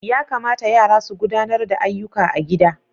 Ya kamata yara su gudanar da ayyuka a gida.